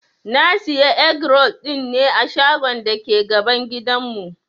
Na Siya egg-roll dinne a shagon dake gaban gidan mu.